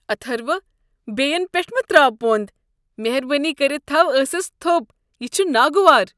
اتھرو، بیٚین پیٹھ مہ تراو پۄنٛد۔ مہربٲنی كٔرِتھ تھو ٲسس تھوٚپ۔ یہِ چھُ ناگوار۔